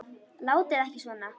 Látið ekki svona.